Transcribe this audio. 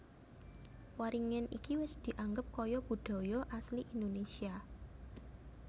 Waringin iki wis dianggep kaya budaya asli Indonesia